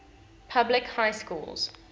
public high schools